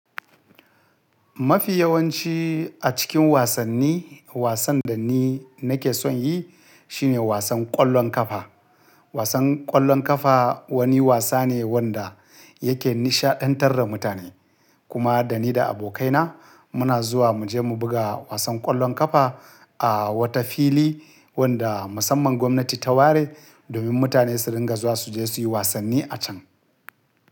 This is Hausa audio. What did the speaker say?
Mafi yawanci a cikin wasanni, wasan da ni nake son yi shine wasan ƙwallon ƙafa. Wasan ƙwallon ƙafa wani wasa ne wanda yake nishaɗantar da mutane. Kuma da ni da abokaina muna zuwa mu je mu buga wasan ƙwallon ƙafa a wata fili wanda musamman gwamnati ta ware domin mutane su ringa zuwa su je su yi wasanni a can.